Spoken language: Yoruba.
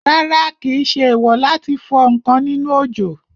Rárá, kìí ṣe èèwò láti fọ ǹkan nínú òjò